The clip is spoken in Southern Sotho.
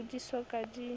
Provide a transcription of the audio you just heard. oo di so ka di